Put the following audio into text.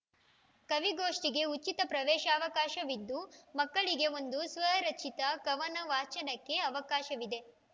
ಕವಿಗೋಷ್ಠಿಗೆ ಉಚಿತ ಪ್ರವೇಶಾವಕಾಶವಿದ್ದು ಮಕ್ಕಳಿಗೆ ಒಂದು ಸ್ವರಚಿತ ಕವನ ವಾಚನಕ್ಕೆ ಅವಕಾಶವಿದೆ